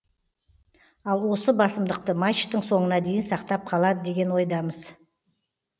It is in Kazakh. ал осы басымдықты мачтың соңына дейін сақтап қалады деген ойдамыз